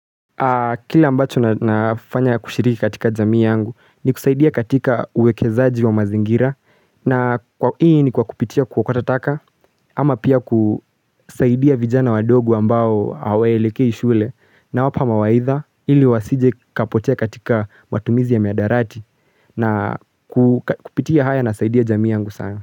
Kila ambacho nafanya kushiriki katika jamii yangu ni kusaidia katika uwekezaji wa mazingira na kwa ii ni kwa kupiti kuokota tataka ama pia kusaidia vijana wadogo ambao hawelekei shule na wapa mawaidha ili wasije kapotia katika matumizi ya miadarati na kupitia haya na saidia jamii yangu sana.